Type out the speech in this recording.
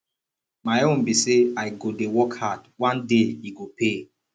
my own be say i go dey work hard one day e go pay